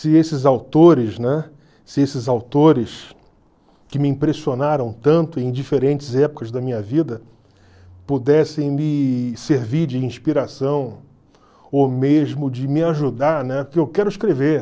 se esses autores, né, se esses autores que me impressionaram tanto em diferentes épocas da minha vida pudessem me servir de inspiração ou mesmo de me ajudar, né , porque eu quero escrever.